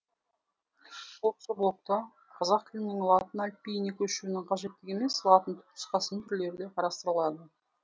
осы блогта қазақ тілінің латын әліпбиіне көшуінің қажеттігі емес латын тұпнұсқасының түрлері қарастырылады